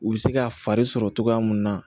U bɛ se ka fari sɔrɔ cogoya mun na